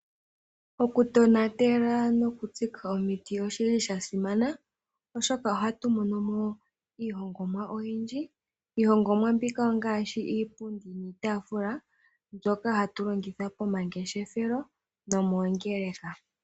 Okutonatela nokutsika omiti oshi li sha simana, oshoka ohatu mono mo iihongomwa oyindji. Iihongomwa mbika ongaashi iipundi niitaafula, mbyoka hatu longitha pomangeshefelo nomoongeleka.